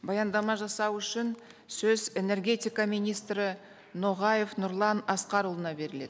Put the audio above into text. баяндама жасау үшін сөз энергетика министрі ноғаев нұрлан асқарұлына беріледі